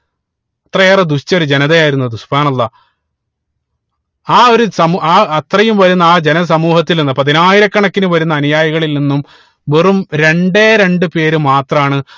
ഇത്രയേറെ ദുഷിച്ചൊരു ജനതയായിരുന്നു അത് അല്ലാഹ് ആ ഒരു സമൂ ആഹ് അത്രയും വരുന്ന ആ ജന സമൂഹത്തിൽ നിന്നും പതിനായിരക്കണക്കിന് വരുന്ന അനുയായികളിൽ നിന്നും വെറും രണ്ടേ രണ്ട്‍ പേര് മാത്രാണ്